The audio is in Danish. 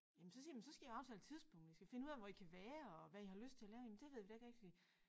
Jamen så siger jeg jamen så skal I aftale tidspunkt og I skal finde ud af hvor I kan være og hvad I har lyst til at lave jamen det ved vi da ikke rigtig